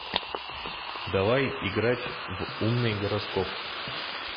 давай играть в умный гороскоп